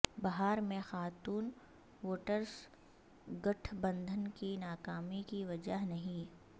بہار میں خاتون ووٹرس گٹھ بندھن کی ناکامی کی وجہ نہیں